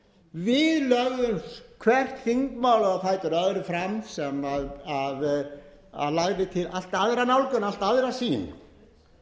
við lögðumst hver þingmaður á fætur öðrum fram sem lagði til allt aðra nálgun allt aðra sýn